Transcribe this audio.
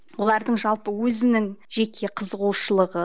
олардың жалпы өзінің жеке қызығушылығы